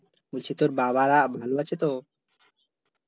বলছি তোর বাবারা ভালো আছে তো?